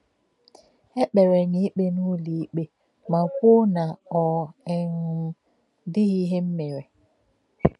É kpèrè m ikpe n’ụlọ-ikpe ma kwùó na ọ um dịghị ihe m mèrè.